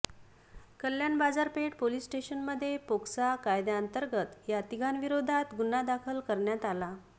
कल्याण बाजारपेठ पोलिस स्टेशनमध्ये पोक्सा कायद्यांतर्गत या तिघांविरोधात गुन्हा दाखल करण्यात आला आहे